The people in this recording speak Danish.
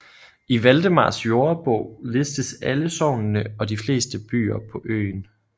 I Valdemars Jordebog listes alle sognene og de fleste byer på øen